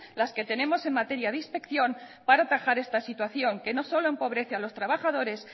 las que tenemos en materia de inspección para atajar esta situación que no solo empobrece a los trabajadores